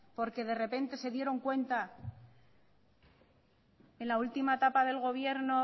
porque de repente se dieron cuenta en la última etapa del gobierno